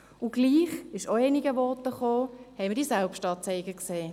Und doch, das wurde in einigen Voten erwähnt, gab es diese Selbstanzeigen.